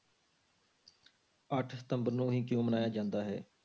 ਅੱਠ ਸਤੰਬਰ ਨੂੰ ਹੀ ਕਿਉਂ ਮਨਾਇਆ ਜਾਂਦਾ ਹੈ?